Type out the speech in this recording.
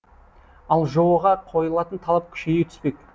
ал жоо ға қойылатын талап күшейе түспек